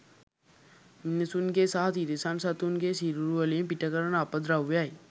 මිනිසුන්ගේ සහ තිරිසන් සතුන්ගේ සිරුරුවලින් පිට කරන අපද්‍රව්‍යයි.